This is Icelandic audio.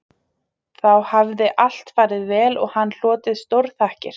Þá hafði allt farið vel og hann hlotið stórþakkir